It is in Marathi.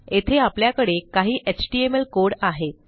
येथे आपल्याकडे काही एचटीएमएल कोड आहेत